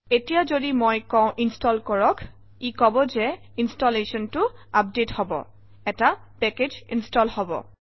এতিয়া যদি মই কওঁ ইনষ্টল কৰক ই কব যে এই ইনষ্টলেচনটো আপডেট হব এটা পেকেজ ইনষ্টল হব